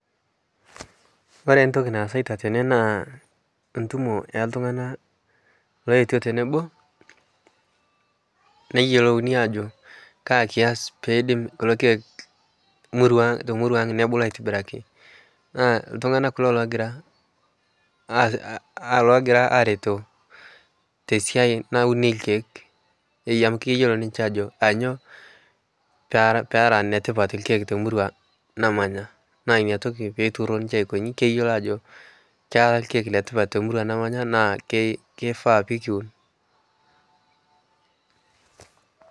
kore ntoki naasaita tene naa ntumo eltungana lootuo teneboo neyelouni ajo kaa kias peidim kulo keek te murua aang nebulu aitibiraki naa ltungana kulo logira, logira areto te siai naunii lkeek eei amu keyelo ninshe ajoo peera netipat lkeek te murua namanya naa inia tokii peituuro ninshe aikonyi keyelo ajoo kera lkeek letipat te murua nemanya naa keifaa pikiwun